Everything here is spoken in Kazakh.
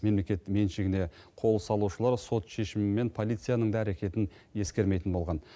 мемлекет меншігіне қол салушылар сот шешімі мен полицияның да әрекетін ескермейтін болған